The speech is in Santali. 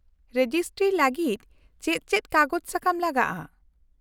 -ᱨᱮᱡᱤᱥᱴᱨᱤᱭ ᱞᱟᱹᱜᱤᱫ ᱪᱮᱫ ᱪᱮᱫ ᱠᱟᱜᱚᱡᱽ ᱥᱟᱠᱟᱢ ᱞᱟᱜᱟᱜᱼᱟ ?